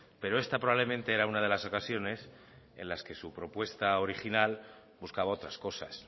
pero esta probablemente era una de las ocasiones en las que su propuesta original buscaba otras cosas